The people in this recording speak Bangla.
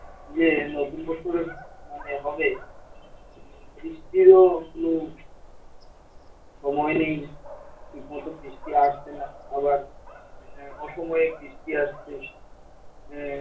ইয়ে নতুন বছরের মানে হবে বৃষ্টিরও একটু সময় নেই, ঠিকমত বৃষ্টি আসবে না আবার আহ অসময়ে বৃষ্টি আসছে আহ